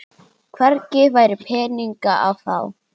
Hvergi væri peninga að fá.